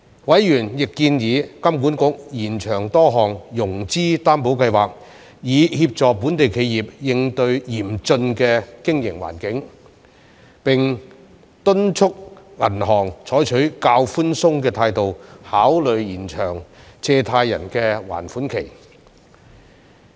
委員亦建議金管局延長多項融資擔保計劃以協助本地企業應對嚴峻的經營環境，並敦促銀行採取較寬鬆的態度考慮延長借貸人的還款期。